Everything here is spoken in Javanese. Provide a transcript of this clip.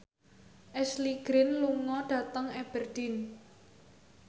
Ashley Greene lunga dhateng Aberdeen